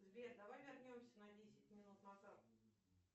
сбер давай вернемся на десять минут назад